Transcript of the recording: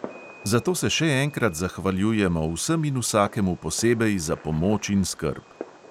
Zato se še enkrat zahvaljujemo vsem in vsakemu posebej za pomoč in skrb.